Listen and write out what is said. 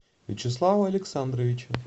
вячеслава александровича